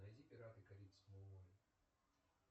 найди пираты карибского моря